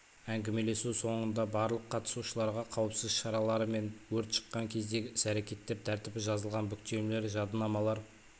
әңгімелесу соңында барлық қатысушыларға қауіпсіз шаралары мен өрт шыққан кездегі іс әрекет тәртібі жазылған бүктемелер жадынамалар